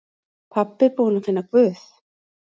Pabbi búinn að finna Guð!